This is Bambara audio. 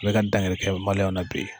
U bɛ ka dankɛ na bi